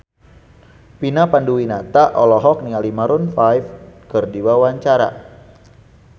Vina Panduwinata olohok ningali Maroon 5 keur diwawancara